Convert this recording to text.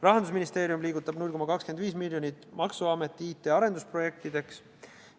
Rahandusministeerium liigutab 0,25 miljonit maksuameti IT arendusprojektideks.